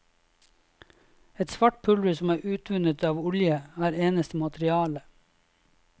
Et svart pulver som er utvunnet av olje, er eneste materiale.